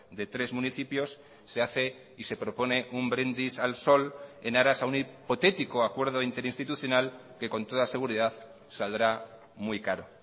de tres municipios se hace y se propone un brindis al sol en aras a un hipotético acuerdo interinstitucional que con toda seguridad saldrá muy caro